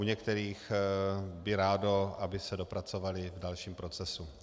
U některých by rádo, aby se dopracovaly v dalším procesu.